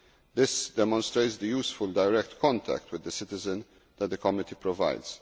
This demonstrates the useful direct contact with the citizen that the committee provides.